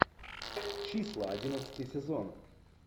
числа одиннадцатый сезон